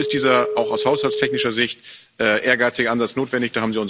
Dazu ist dieser auch aus haushaltstechnischer Sicht ehrgeizige Ansatz notwendig.